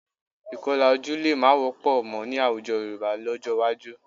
Ìkọlà ojú lè má wọ́pọ̀ mọ́ ní àwùjọ Yorùbá lọ́jọ́ iwájú